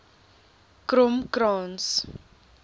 kromkrans